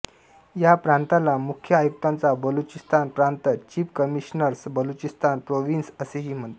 या प्रांताला मुख्य आयुक्ताचा बलुचिस्तान प्रांत चीफ कमिशनर्स बलुचिस्तान प्रोव्हिन्स असेही म्हणत